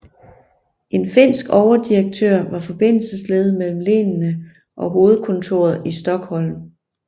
En finsk overdirektør var forbindelsesled mellem lenene og hovedkontoret i Stockholm